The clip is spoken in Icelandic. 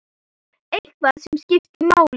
Eitthvað sem skiptir máli?